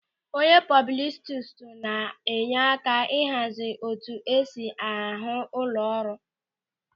Onye pọbụlistu na-enye aka ịhazi etu esi ahụ ụlọ ọrụ.